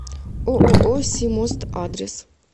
ооо симост адрес